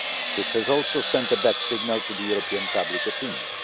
It has also sent a bad signal to European public opinion.